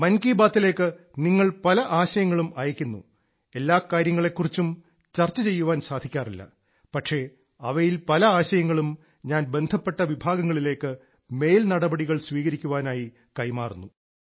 മൻ കി ബാത്തിലേക്ക് നിങ്ങൾ പല ആശയങ്ങളും അയക്കുന്നു എല്ലാ കാര്യങ്ങളെക്കുറിച്ചും ചർച്ച ചെയ്യാൻ സാധിക്കാറില്ല പക്ഷേ അവയിൽ പല ആശയങ്ങളും ഞാൻ ബന്ധപ്പെട്ട വിഭാഗങ്ങളിലേക്ക് മേൽനടപടികൾ സ്വീകരിക്കാനായി കൈമാറുന്നു